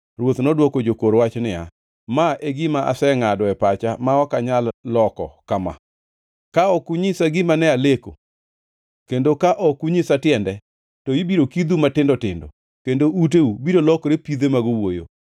Ruoth nodwoko jokor wach niya, “Ma e gima asengʼado e pacha ma ok anyal loko kama: Ka ok unyisa gima ne aleko, kendo ka ok unyisa tiende, to ibiro kidhu matindo tindo, kendo uteu biro lokore pidhe mag owuoyo.